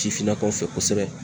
Sifinnakaw fɛ kosɛbɛ